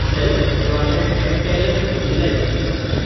self-employment and talent utilisation scheme